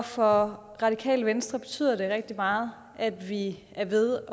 for radikale venstre betyder det rigtig meget at vi er ved